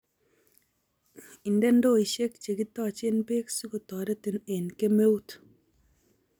Inde ndoishek che kitoche beek si kotoretin eng kemeut